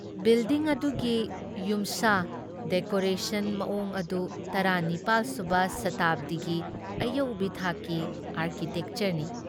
Building ꯑꯗꯨꯒꯤ ꯌꯨꯝꯁꯥ decoration ꯃꯑꯣꯡ ꯑꯗꯨ ꯇꯔꯥ ꯅꯤꯄꯥꯜ ꯁꯨꯕ ꯁꯇꯥꯕꯗꯤꯒꯤ ꯑꯌꯧꯕꯤ ꯊꯥꯛꯀꯤ ꯑꯥꯔꯀꯤꯇꯦꯛꯆꯔꯅꯤ ꯫